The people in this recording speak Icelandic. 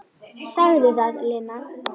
Sagði það, Lena.